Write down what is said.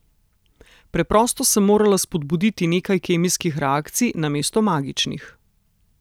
Preprosto sem morala spodbuditi nekaj kemijskih reakcij namesto magičnih.